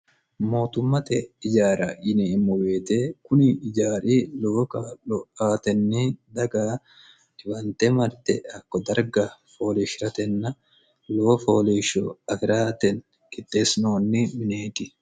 mootummate ijaara yineemmo woyite kuni ijaari lowo kaa'lo aatenni daga dhiwante marte hakko darga fooleeshshi'ratenna lowo fooliishsho afi'rate qixxeessinoonni mineeti